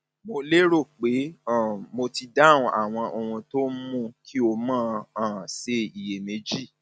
mo lérò pé um mo ti dáhùn àwọn ohun tó ń mú ń mú kí o um máa ṣe iyèméjì